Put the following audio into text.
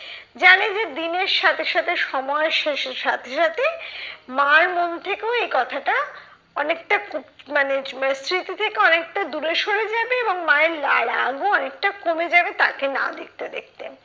জানে যে দিনের সাথে সাথে সময়ের শেষে সাথে সাথে মার মন থেকেও এই কথাটা অনেকটা কু মানে মানে স্মৃতি থেকে অনেকটা দূরে সরে যাবে এবং মায়ের লা রাগও অনেকটা কমে যাবে তাকে না দেখতে দেখতে।